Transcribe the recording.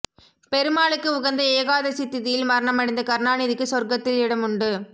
பெருமாளுக்கு உகந்த ஏகாதசி திதியில் மரணமடைந்த கருணாநிதிக்கு சொர்க்கத்தில் இடமுண்டு